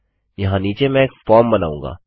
यहाँ नीचे मैं एक फॉर्म बनाऊँगा